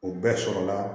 O bɛɛ sɔrɔla